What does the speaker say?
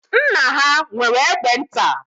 Nna ha nwere egbe nta.